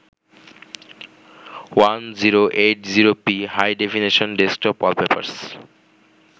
1080p High-definition desktop wallpapers